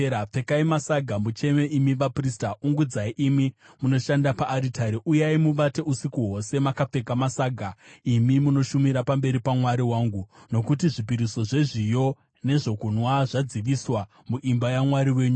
Pfekai masaga mucheme, imi vaprista; ungudzai, imi munoshanda paaritari. Uyai muvate usiku hwose makapfeka masaga, imi munoshumira pamberi paMwari wangu; nokuti zvipiriso zvezviyo nezvokunwa zvadziviswa muimba yaMwari wenyu.